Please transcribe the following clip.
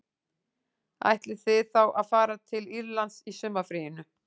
Ætlið þið þá að fara til Írlands í sumarfríinu